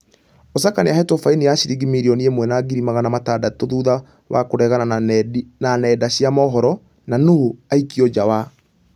Osaka nĩahoretwo faini ya shiringi mirioni ĩmwe na ngiri magana matandatũ thutha wa kũregana na nenda cia mũhoro na nũ aikio nja wa ......